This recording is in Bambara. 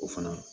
O fana